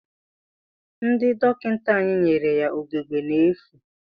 Ndị dọkịta anya nyere ya ugegbe n'efu.